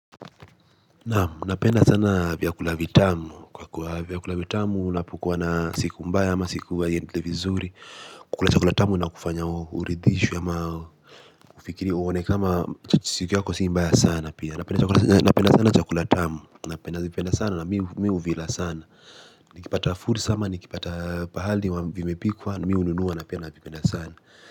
Naam, napenda sana vyakula vitamu. Kwa kuwa vyakula vitamu, unapukuwa na siku mbaya ama siku haiendelei vizuri. Kukula chakula tamu inakufanya uridhishwe ama ufikirie uone kama siku yako sii mbaya sana pia. Napenda sana chakula tamu. Napenda vipenda sana na mi huvila sana. Nikipata fursa ama, nikipata pahali wa vimepikwa, mi hununua napenda navipenda sana.